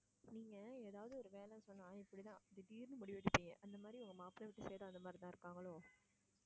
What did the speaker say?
நீங்க ஏதாவது ஒரு வேலை சொன்னா இப்படி தான் திடீர்ன்னு முடிவு எடுப்பீங்க அந்த மாதிரி உங்க மாப்பிள்ளை வீட்டு side உம் அந்தமாதிரி தான் இருப்பாங்களோ?